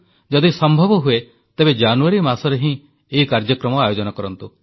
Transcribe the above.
ଯଦି ସମ୍ଭବ ହୁଏ ତେବେ ଜାନୁୟାରୀ ମାସରେ ହିଁ ଏହି କାର୍ଯ୍ୟକ୍ରମ ଆୟୋଜନ କରନ୍ତୁ